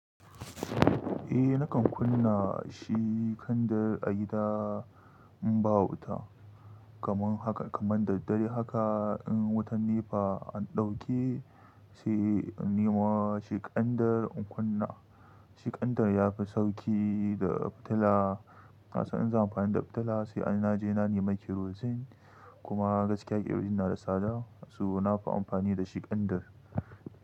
Eh nakan kunna shi ƙandar a gida in ba wuta kamar haka kamar da dare haka in wutan NEPA an ɗauke sai in nema shi ƙandar in kunna shi ƙandar yafi sauki da fitila. Na san in zan amfani da fitila sai anaje na nema kerozin kuma gaskiya ƙerozin na da tsada asu nafi amfani da shi ƙandar.